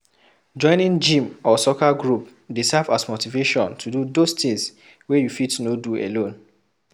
Joining gym or soccer group dey serve as motivation to do those things wey you fit no do alone